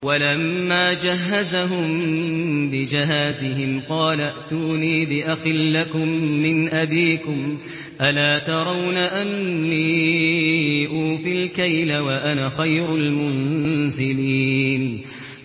وَلَمَّا جَهَّزَهُم بِجَهَازِهِمْ قَالَ ائْتُونِي بِأَخٍ لَّكُم مِّنْ أَبِيكُمْ ۚ أَلَا تَرَوْنَ أَنِّي أُوفِي الْكَيْلَ وَأَنَا خَيْرُ الْمُنزِلِينَ